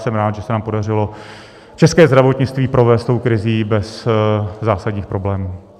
Jsem rád, že se nám podařilo české zdravotnictví provést tou krizí bez zásadních problémů.